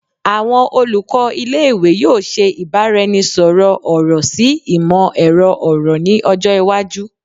Awọn olukọ ile-iwe yoo ṣe ibaraẹnisọrọ ọrọ si imọ-ẹrọ ọrọ ni ọjọ iwaju